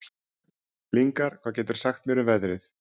Lyngar, hvað geturðu sagt mér um veðrið?